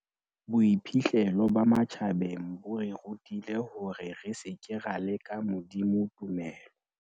Boiphihlelo ba matjhabeng bo re rutile hore re seke ra leka Modimo tumelo.